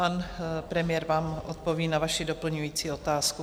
Pan premiér vám odpoví na vaši doplňující otázku.